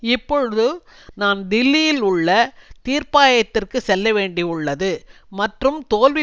இப்பொழுது நான் தில்லியில் உள்ள தீர்ப்பாயத்திற்கு செல்லவேண்டியுள்ளது மற்றும் தோல்வி